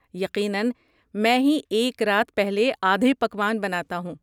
یقیناً، میں ہی ایک رات پہلے آدھے پکوان بناتا ہوں۔